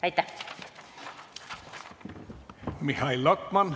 Aitäh!